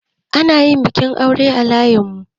Ana yin bikin aure a layinmu.